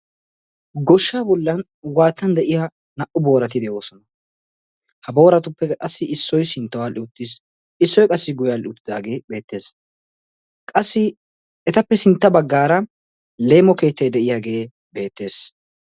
Goshshaa bollan waattan de'iya naa"u boorati de'oosona. Ha booratuppekka qassi issoy sinttawu aadhdhi uttis. Issoy qassi guyye aadhdhi uttidaagee beettees. Qassi etappe sintta baggaara leemo keettay de'iyageeta beettees.